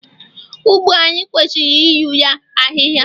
ugbo anyi kwesiri iru ya ahịhịa